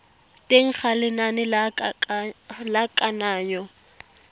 teng ga lenane la kananyo